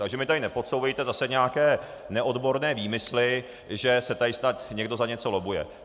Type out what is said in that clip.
Takže mi tady nepodsouvejte zase nějaké neodborné výmysly, že se tady snad někdo za něco lobbuje.